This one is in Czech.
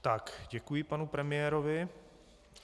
Tak, děkuji panu premiérovi.